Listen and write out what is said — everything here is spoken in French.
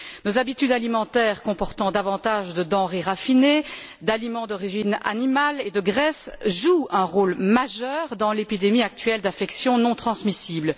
Nos habitudes alimentaires, consistant en davantage de denrées raffinées, d'aliments d'origine animale et de graisses, jouent un rôle majeur dans l'épidémie actuelle d'affections non transmissibles.